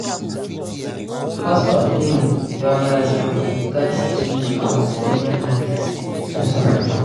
Cost of living don rise but we gats change our spending habits to survive.